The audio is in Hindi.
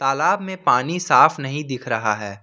तालाब में पानी साफ नहीं दिख रहा है।